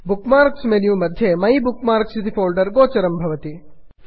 book marks menu मध्ये my bookmarks my bookmarks इति folder गोचरं भवति